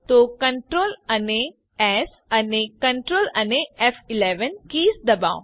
તો Ctrl અને Ctrl keys ડબાઓ